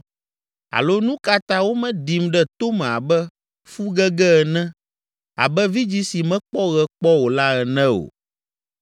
Alo nu ka ta womeɖim ɖe tome abe fu gege ene, abe vidzĩ si mekpɔ ɣe kpɔ o la ene o?